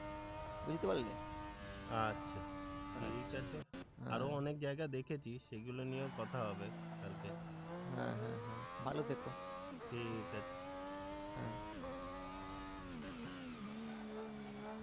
বুঝতে পারলে, আচ্ছা ঠিক আছে, আরো অনেক জায়গা দেখেছি সেগুলো নিয়েও কথা হবে কালকে, হ্যাঁ, হ্যাঁ, হ্যাঁ, ভালো থেকো, ঠিক আছে, হ্যাঁ,